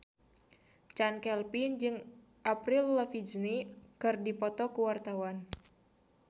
Chand Kelvin jeung Avril Lavigne keur dipoto ku wartawan